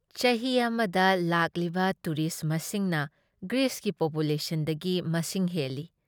ꯆꯍꯤ ꯑꯃꯗ ꯂꯥꯛꯂꯤꯕ ꯇꯨꯔꯤꯁ ꯃꯁꯤꯡꯅ ꯒ꯭ꯔꯤꯁꯀꯤ ꯄꯣꯄꯨꯂꯦꯁꯟꯗꯒꯤ ꯃꯁꯤꯡ ꯍꯦꯜꯂꯤ꯫